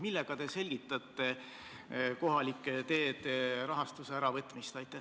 Millega te selgitate kohalike teede rahastuse vähendamist?